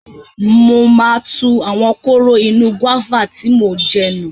Mo máa tu àwọn kóró inú gúáfà tí mò ń jẹ nù.